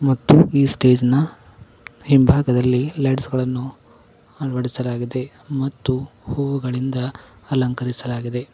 ಮತ್ತು ಈ ಸ್ಟೇಜ್ ನ ಹಿಂಭಾಗದಲ್ಲಿ ಲೈಟ್ಸ್ ಗಳನ್ನು ಆಡಿಸಲಾಗಿದೆ ಮತ್ತು ಹೂಗಳಿಂದ ಅಲಂಕರಿಸಲಾಗಿದೆ.